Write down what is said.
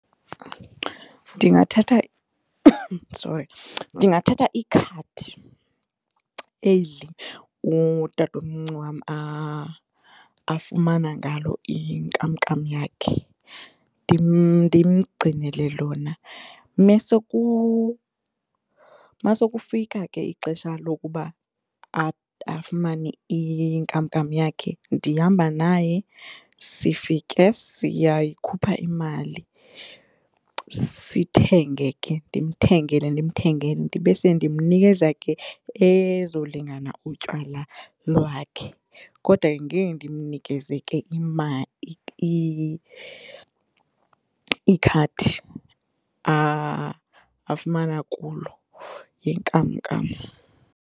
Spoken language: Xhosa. Ndingathatha sorry, ndingathatha ikhadi eli utatomncinci wam afumana ngalo inkamnkam yakhe ndimgcinele lona. Masekufika ke ixesha lokuba afumane inkamnkam yakhe ndihamba naye sifike siyayikhupha imali sithenge ke ndimthengele ndimthengele ndibe sendimnikeza ke ezolingana utywala lwakhe kodwa ke ngeke ndimnikeze ke imali ikhadi afumana kulo inkamnkam.